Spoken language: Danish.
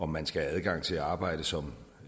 man skal have adgang til at arbejde som